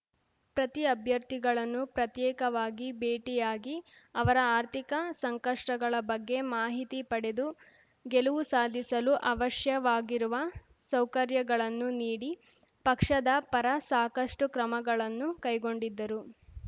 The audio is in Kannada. ಪ್ರತಿ ಅಭ್ಯರ್ಥಿಗಳನ್ನು ಪ್ರತ್ಯೇಕವಾಗಿ ಭೇಟಿಯಾಗಿ ಅವರ ಆರ್ಥಿಕ ಸಂಕಷ್ಟಗಳ ಬಗ್ಗೆ ಮಾಹಿತಿ ಪಡೆದು ಗೆಲುವು ಸಾಧಿಸಲು ಅವಶ್ಯವಾಗಿರುವ ಸೌಕರ್ಯಗಳನ್ನು ನೀಡಿ ಪಕ್ಷದ ಪರ ಸಾಕಷ್ಟುಕ್ರಮಗಳನ್ನು ಕೈಗೊಂಡಿದ್ದರು